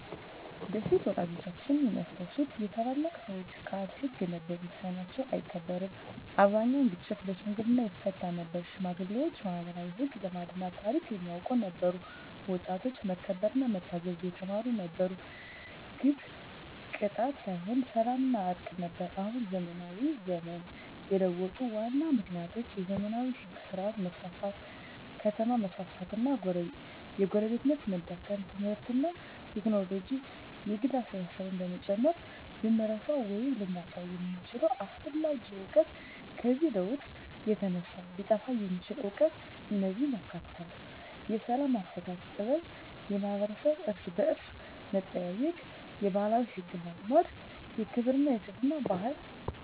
በፊት (ወላጆቻችን የሚያስታውሱት) የታላላቅ ሰዎች ቃል ሕግ ነበር፤ ውሳኔያቸው አይከራከርም አብዛኛውን ግጭት በሽምግልና ይፈታ ነበር ሽማግሌዎች ማኅበራዊ ሕግ፣ ልማድና ታሪክ የሚያውቁ ነበሩ ወጣቶች መከበርና መታዘዝ የተማሩ ነበሩ ግብ ቅጣት ሳይሆን ሰላምና እርቅ ነበር አሁን (ዘመናዊ ዘመን) የለውጡ ዋና ምክንያቶች የዘመናዊ ሕግ ሥርዓት መስፋፋት ከተማ መስፋፋት እና የጎረቤትነት መዳከም ትምህርትና ቴክኖሎጂ የግል አስተሳሰብን መጨመር ልንረሳው ወይም ልናጣው የምንችለው አስፈላጊ እውቀት ከዚህ ለውጥ የተነሳ ሊጠፋ የሚችል እውቀት እነዚህን ያካትታል፦ የሰላም አፈታት ጥበብ የማኅበረሰብ እርስ–በርስ መጠያየቅ የባህላዊ ሕግና ልማድ የክብርና የትሕትና ባህል